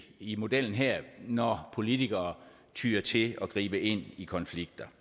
i modellen her når politikere tyer til at gribe ind i konflikter